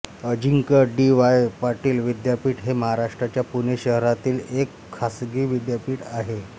अजिंक्य D Y Patil विद्यापीठ हे महाराष्ट्राच्या पुणे शहरातील एक खासगी विद्यापीठ आहे